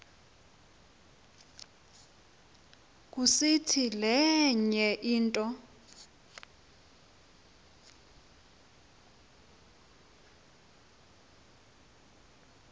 kusiti lenye into